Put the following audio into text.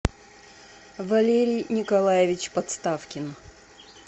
валерий николаевич подставкин